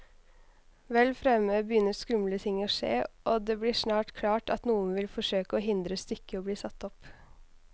Vel fremme begynner skumle ting å skje, og det blir snart klart at noen vil forsøke å hindre stykket i bli satt opp.